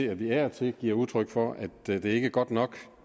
at vi af og til giver udtryk for at det ikke er godt nok